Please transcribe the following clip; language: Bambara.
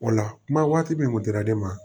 O la kuma waati min kun dira ne ma